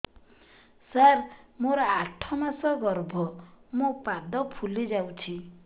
ସାର ମୋର ଆଠ ମାସ ଗର୍ଭ ମୋ ପାଦ ଫୁଲିଯାଉଛି